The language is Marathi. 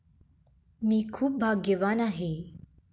मी खूप भाग्यवान आहे!